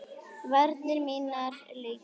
Varir mínar leita.